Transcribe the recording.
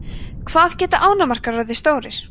hvað geta ánamaðkar orðið stórir